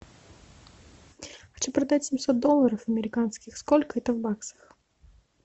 хочу продать семьсот долларов американских сколько это в баксах